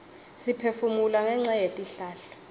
siphefumula ngenca yetihlahla